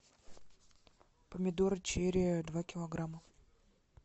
помидоры черри два килограмма